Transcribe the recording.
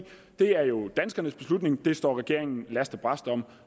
det er jo danskernes beslutning den står regeringen last og brast om